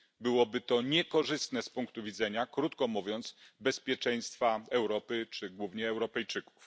Byłoby to niekorzystne z punktu widzenia, krótko mówiąc, bezpieczeństwa Europy, czy głównie Europejczyków.